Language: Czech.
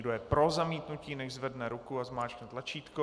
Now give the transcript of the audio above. Kdo je pro zamítnutí, nechť zvedne ruku a zmáčkne tlačítko.